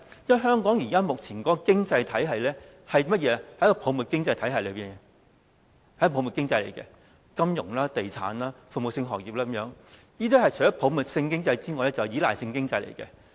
因為香港目前的經濟屬泡沫經濟，太着重於金融、地產和服務性行業等，所以除了是泡沫經濟之外，還是依賴性經濟。